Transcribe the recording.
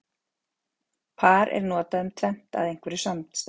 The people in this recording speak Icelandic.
Par er notað um tvennt af einhverju samstæðu.